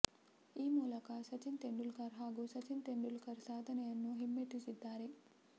ಈ ಮೂಲಕ ಸಚಿನ್ ತೆಂಡೂಲ್ಕರ್ ಹಾಗೂ ಸಚಿನ್ ತೆಂಡೂಲ್ಕರ್ ಸಾಧನೆಯನ್ನು ಹಿಮ್ಮೆಟ್ಟಿಸಿದ್ದಾರೆ